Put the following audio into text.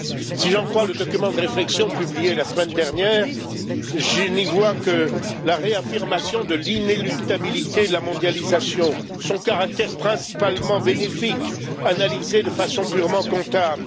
Si je lis le document de réflexion publié la semaine dernière, je n'y vois que la réaffirmation de l'inéluctabilité de la mondialisation, son caractère principalement bénéfique analysé de façon purement comptable.